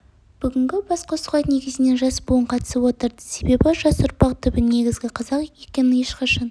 бүгінгі басқосуға негізінен жас буын қатысып отыр себебі жас ұрпақ түбі негізі қазақ екенін ешқашан